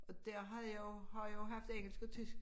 Og der har jo har jo haft engelsk og tysk